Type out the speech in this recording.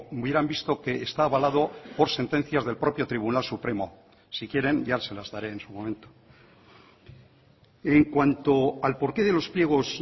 hubieran visto que está avalado por sentencias del propio tribunal supremo si quieren ya se las daré en su momento en cuanto al porqué de los pliegos